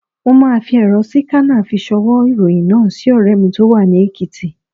Mo máa fi èrọ síkánà fi ṣ'ọwọ́ ìròyìn náà sí ọ̀rẹ́ mi tó wà ní Èkìtì.